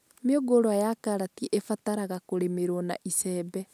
Mĩũngũrwa ya karati ĩbataraga kũrĩmĩrwo na icembe